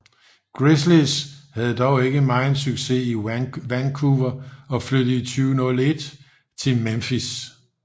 Grizzlies havde dog ikke meget succes i Vancouver og flyttede i 2001 til Memphis